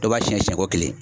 Dɔ b'a siyɛn siyɛnko kelen